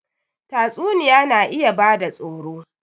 Tatsuniya na iya bada tsoro